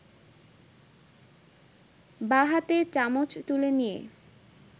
বাঁ হাতে চামচ তুলে নিয়ে